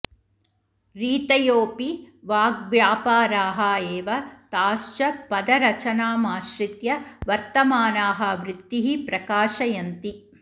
रीतयोऽपि वाग्व्यापाराः एव ताश्च पदरचनामाश्रित्य वर्तमानाः वृत्तिः प्रकाशयन्ति